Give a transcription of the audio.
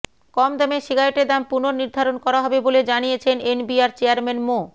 কম দামের সিগারেটের দাম পুনর্নির্ধারণ করা হবে বলে জানিয়েছেন এনবিআর চেয়ারম্যান মো